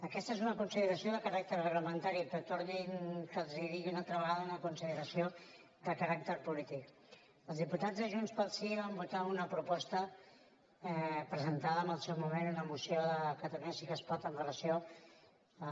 aquesta és una consideració de caràcter reglamentari però torno a dir los una altra vegada una consideració de caràcter polític els diputats de junts pel sí van votar una proposta presentada en el seu moment una moció de catalunya sí que es pot amb relació a